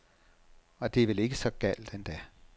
Og det er vel ikke så galt endda.